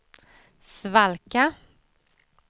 svalka